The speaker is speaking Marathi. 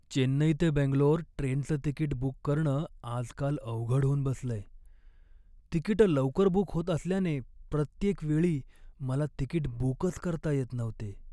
चेन्नई ते बंगलोर ट्रेनचं तिकीट बुक करणं आजकाल अवघड होऊन बसलंय. तिकिटं लवकर बुक होत असल्याने प्रत्येकवेळी मला तिकीट बुकच करता येत नव्हते.